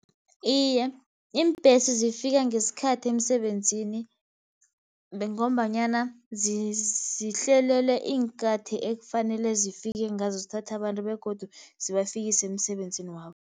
Iye, iimbhesi zifika ngesikhathi emsebenzini, ngombanyana zihlelele iinkathi ekufanele zifike ngazo, zithatha abantu begodu zibafikise emsebenzini wabo.